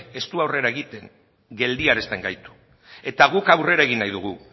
ez du aurrera egiten geldiarazten gaitu eta guk aurrera egin nahi dugu